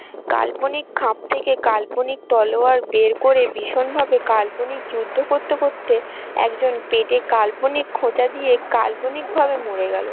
কাল্পনিক খাপ থেকে কাল্পনিক তলোয়ার বের করে ভীষণ ভাবে কাল্পনিক যুদ্ধ করতে করতে একজন পেটে কাল্পনিক খোঁচা দিয়ে কাল্পনিক ভাবে মরে গেলো।